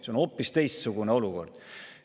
See on hoopis teistsugune olukord.